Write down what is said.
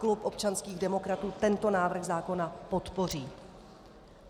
Klub občanských demokratů tento návrh zákona podpoří.